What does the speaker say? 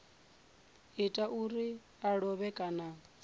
ita zwauri a lovhe kana